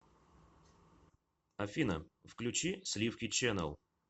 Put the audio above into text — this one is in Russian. афина включи сливки чэнел